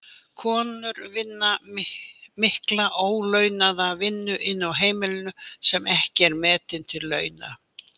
Konur vinna mikla ólaunaða vinnu inni á heimilinu sem ekki er metin til launa.